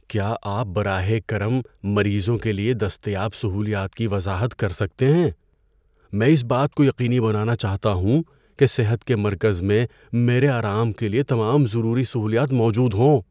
کیا آپ براہ کرم مریضوں کے لیے دستیاب سہولیات کی وضاحت کر سکتے ہیں؟ میں اس بات کو یقینی بنانا چاہتا ہوں کہ صحت کے مرکز میں میرے آرام کے لیے تمام ضروری سہولیات موجود ہوں۔